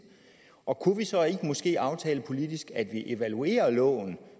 og kunne vi så måske aftale politisk at vi evaluerer loven